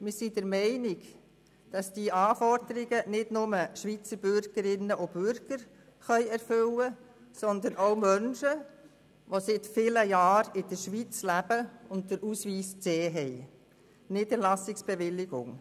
Wir sind der Meinung, dass diese Anforderungen nicht nur von Schweizer Bürgerinnen und Bürgern erfüllt werden können, sondern auch von Menschen, welche seit vielen Jahren in der Schweiz leben und den Ausweis C besitzen.